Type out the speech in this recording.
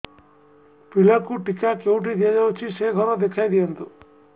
ପିଲାକୁ ଟିକା କେଉଁଠି ଦିଆଯାଉଛି ସେ ଘର ଦେଖାଇ ଦିଅନ୍ତୁ